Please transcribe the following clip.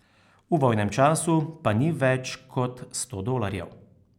V vojnem času pa nič več kot sto dolarjev.